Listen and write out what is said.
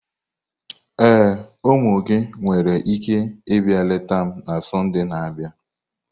Ee, ụmụ gị nwere ike ịbịa leta m na Sọnde na-abịa.